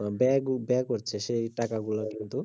আহ ব্য~ব্যয় করতো সেই টাকা গুলা শুধু